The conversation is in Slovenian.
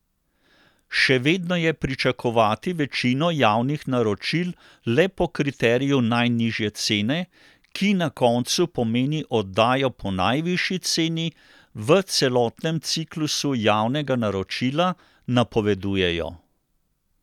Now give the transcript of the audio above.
Še vedno je pričakovati večino javnih naročil le po kriteriju najnižje cene, ki na koncu pomeni oddajo po najvišji ceni v celotnem ciklusu javnega naročila, napovedujejo.